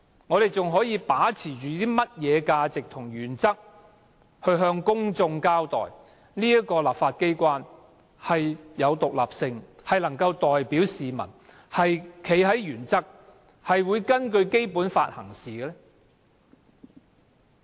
我們還可以把持甚麼價值和原則，向公眾證明立法機關具有獨立性，能夠代表市民，堅持原則，並會根據《基本法》行事？